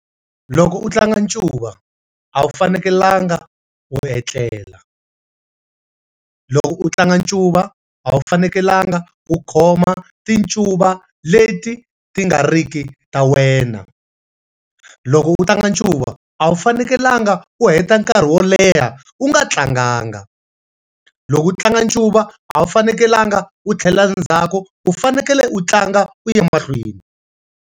Loko u tlanga ncuva a wu fanekelanga u etlela. Loko u tlanga ncuva a wu fanekelanga u khoma ti ncuva leti ti nga ri ki ta wena. Loko u tlanga ncuva a wu fanekelanga u heta nkarhi wo leha u nga tlanganga. Loko u tlanga ncuva a wu fanekelanga u tlhelela ndzhaku, u fanekele u tlanga u ya emahlweni.